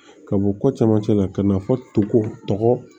Ka bɔ ko camancɛ la ka na fɔ tokɔ